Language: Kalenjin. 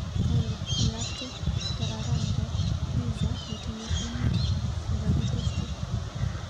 Olly, iyakte kereran nebo pizza netinye krimit nekakitesyi.